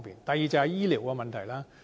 第二，便是醫療的問題。